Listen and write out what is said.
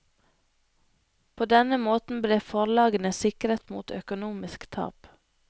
På denne måten ble forlagene sikret mot økonomisk tap.